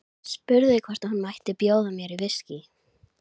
Spurði hvort hún mætti bjóða mér viskí.